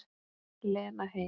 Lena heil.